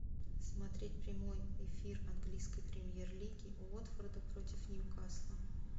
смотреть прямой эфир английской премьер лиги уотфорда против ньюкасла